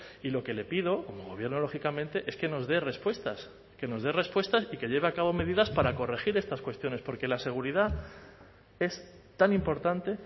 y lo que le pido como gobierno lógicamente es que nos dé respuestas que nos dé respuestas y que lleve a cabo medidas para corregir estas cuestiones porque la seguridad es tan importante